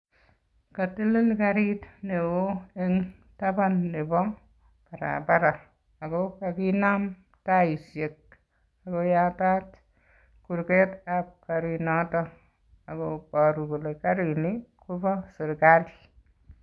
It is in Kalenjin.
Kotelel karit neo en taban nebo bara bara ako kakinam taisiek ako yatat kurketab karinoton ak koboru kole karini kobo sirkali.